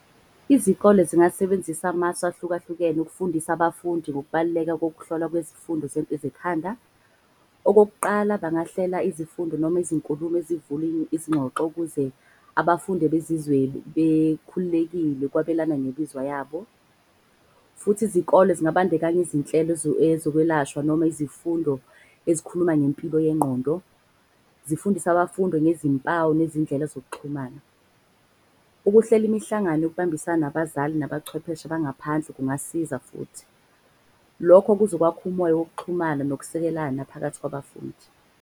Izikole zingasebenzisa amasu ahlukahlukene ukufundisa abafundi ngokubaluleka kokuhlolwa kwezifundo . Okokuqala, bangahlela izifundo noma izinkulumo ezivula izingxoxo ukuze abafundi bezizwe bekhululekile ukwabelana bemizwa yabo. Futhi izikole zingabandekanya izinhlelo ezokwelashwa noma izifundo ezikhuluma ngempilo yengqondo. Zifundise abafundo ngezimpawu nezindlela zokuxhumana. Ukuhlela imihlangano yokubambisana nabazali nabachwepheshe abangaphansi kungasiza futhi. Lokho kuzokwakha umoya wokuxhumana nokusekelana phakathi kwabafundi.